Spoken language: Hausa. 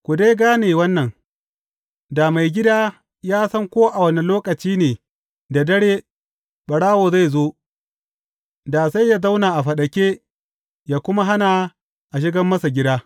Ku dai gane wannan, da maigida ya san ko a wane lokaci ne da dare, ɓarawo zai zo, da sai yă zauna a faɗake yă kuma hana a shiga masa gida.